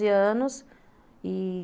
anos, e